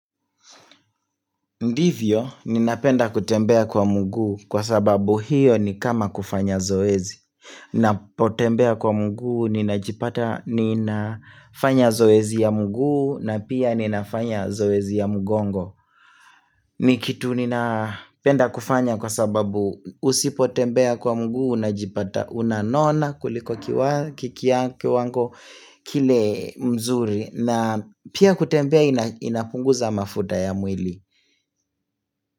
Ndivyo, ninapenda kutembea kwa mguu kwa sababu hiyo ni kama kufanya zoezi. Napotembea kwa mguu, ninajipata, ninafanya zoezi ya mguu, na pia ninafanya zoezi ya mgongo. Ni kitu ninapenda kufanya kwa sababu usipotembea kwa mguu, unajipata, unanona kuliko kiwango kile mzuri, na pia kutembea inapunguza mafuta ya mwili.